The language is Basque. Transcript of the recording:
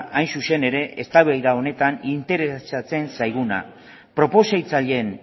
hain zuzen ere eztabaida honetan interesatzen zaiguna proposatzaileen